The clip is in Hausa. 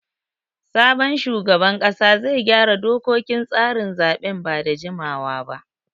Sabon shugaban ƙasa zai gyara dokokin tsarin zaɓen ba da jimawa ba.